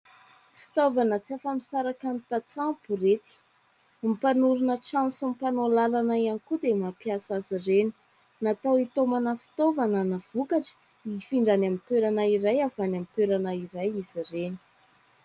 Fitaovana tsy afa-misaraka amin'ny tantsaha ny borety. Ny mpanorona trano sy ny mpanao lalana ihany koa dia mampiasa azy ireny. Natao hitaomana fitaovana na vokatra hifindra any amin'ny toerana iray avy any amin'ny toerana iray izy reny.